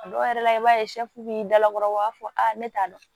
A dɔw yɛrɛ la i b'a ye b'i dalakɔrɔ u b'a fɔ ne t'a dɔn